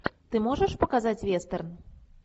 ты можешь показать вестерн